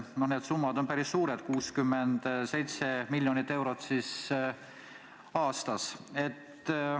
Need summad on päris suured: 67 miljonit eurot aastas.